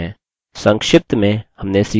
संक्षिप्त में हमने सीखा की कैसे: